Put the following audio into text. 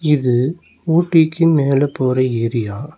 இது ஊட்டிக்கி மேல போற ஏரியா .